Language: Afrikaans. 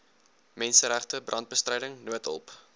menseregte brandbestryding noodhulp